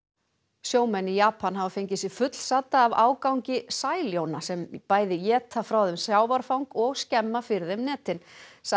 sjómenn í Japan hafa fengið sig fullsadda af ágangi sæljóna sem bæði éta frá þeim sjávarfang og skemma fyrir þeim netin